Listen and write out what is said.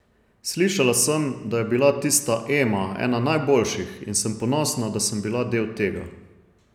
Slišala sem, da je bila tista Ema ena najboljših, in sem ponosna, da sem bila del tega.